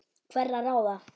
hverra ráða.